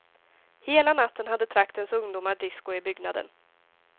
Hela natten hade traktens ungdomar disko i byggnaden.